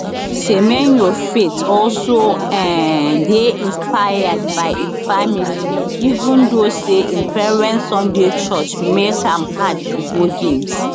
semenyo faith also um dey inspired by im family even though say im parents sunday church make am hard to go games